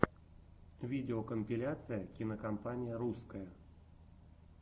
видеокомпиляция кинокомпания русское